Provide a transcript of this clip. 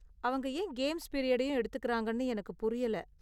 அவங்க ஏன் கேம்ஸ் பீரியடையும் எடுத்துக்கறாங்கன்னு எனக்கு புரியல.